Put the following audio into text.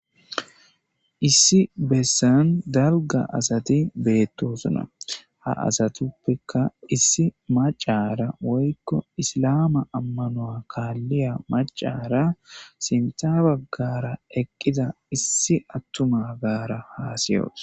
Issi bessan dalga asati beetosona ha asatuppeka issi macara woyko isilama ammanuea kaaliya macara sintha bagara eqida issi attumagara hassiyos